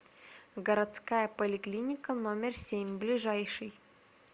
городская поликлиника номер семь ближайший